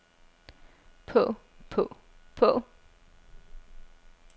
på på på